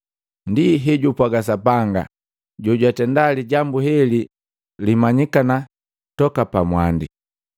Ndi hejupwaga Sapanga, jojwatenda lijambu heli limanyikana toka mwandi.”